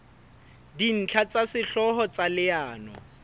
dintlha tsa sehlooho tsa leano